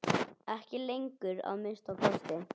Ekki lengur, að minnsta kosti.